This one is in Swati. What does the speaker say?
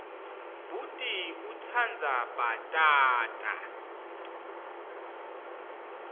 bhuti utsandza bhatata